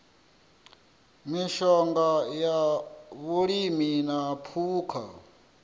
mishonga ya vhulimi na phukha